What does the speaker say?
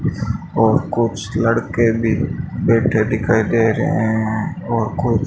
और कुछ लड़के भी बैठे दिखाई दे रहे हैं और कुछ--